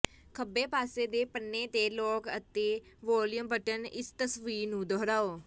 ਖੱਬੇ ਪਾਸੇ ਦੇ ਪੰਨੇ ਤੇ ਲਾਕ ਅਤੇ ਵੌਲਯੂਮ ਬਟਨ ਇਸ ਤਸਵੀਰ ਨੂੰ ਦੁਹਰਾਓ